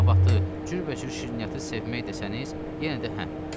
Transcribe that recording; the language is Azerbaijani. Nabatı, cürbəcür şirniyyatı sevmək desəniz, yenə də hə.